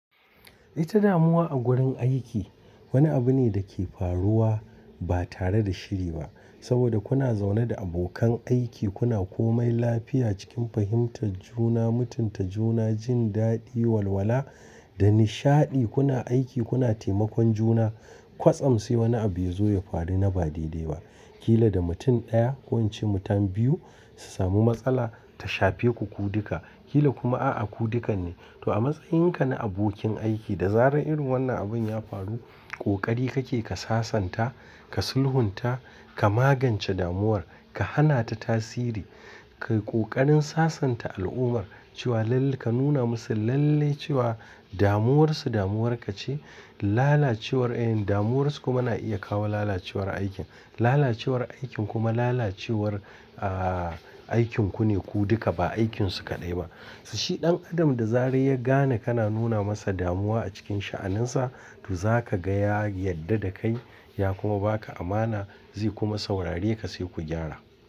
Ita damuwa a gurin aiki wani abu ne da ke faruwa ba tare da shiri ba. Saboda kuna zaune da abokan aiki kuna komai lafiya cikin fahimtar juna, mutunta juna, jin daɗi, walwala da nishaɗi kuna aiki kuna taimakon juna. Kwasam sai wani abu ya zo ya faru na ba daidai ba. Kila da mutum ɗaya ko in ce mutane biyu su samu matsala ta shafe ku ku duka. Kila kuma a'a ku dukan ne. To a matsayinka na abokin aiki da zarar irin wannan abun ya faru ƙoƙari kake ka sasanta, ka sulhunta, ka magance damuwar, ka hana ta tasiri. Kai ƙoƙarin sasanta al'ummar cewa lalle ka nuna musu lalle cewa damuwarsu damuwarka ce. Lalacewar, eh damuwarsu kuma na iya kawo lalacewar aikin. Lalacewar aikin kuma lalacewar, aaaa aikin ku ne ku duka ba aikinsu kaɗai ba. Si shi ɗan adam da zarar ya gane kana nuna masa damuwa a cikin sha'aninsa to zaka gaya yadda da kai ya kuma ba ka amana zai kuma saurare ka sai ku gyara.